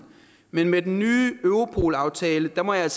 men med den nye europolaftale må jeg